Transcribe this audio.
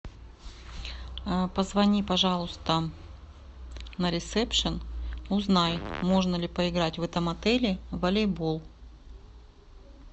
позвони пожалуйста на ресепшен узнай можно ли поиграть в этом отеле в волейбол